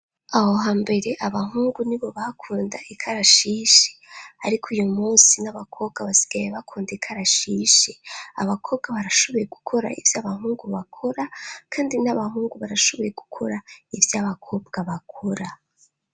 Aho ha mbere abahungu ni bo bakunda ikarashishi ariko uyu munsi n'abakobwa basigaye bakunda ikarashishi abakobwa barashoboye gukora ivy' abahungu bakora kandi n'abahungu barashoboye gukora ivy'abakobwa bakora.